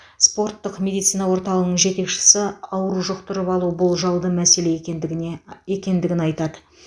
спорттық медицина орталығының жетекшісі ауру жұқтырып алу болжалды мәселе екендігіне екендігін айтады